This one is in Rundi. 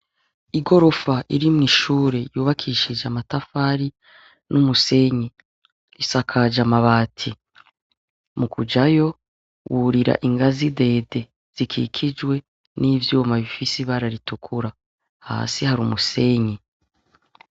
Igirofa irimwishuri yubakishije amatafari n’umusenyi, isakaj’amabati. Mukujayo, wurira ingazi ndende zikikijwe n’ivyuma bifis’ibara ritukura. Hasi har’umusenyi.